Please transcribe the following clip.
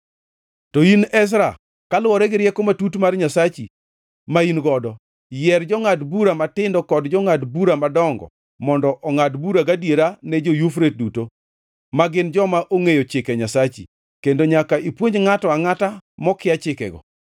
To in, Ezra, kaluwore gi rieko matut mar Nyasachi, ma in godo, yier jongʼad bura matindo kod jongʼad bura madongo mondo ongʼad bura gadiera ne jo-Yufrate duto, ma gin joma ongʼeyo chike Nyasachi. Kendo nyaka ipuonj ngʼato angʼata mokia chikego.